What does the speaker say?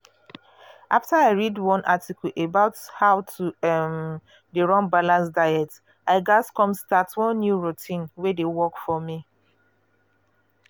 after i read one article about how to um dey run balanced diet i um come start one new routine wey dey work for me.